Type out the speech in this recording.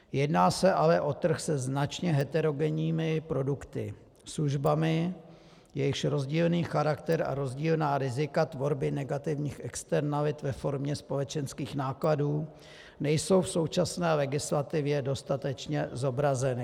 Jedná se ale o trh se značně heterogenními produkty, službami, jejichž rozdílný charakter a rozdílná rizika tvorby negativních externalit ve formě společenských nákladů nejsou v současné legislativě dostatečně zobrazeny.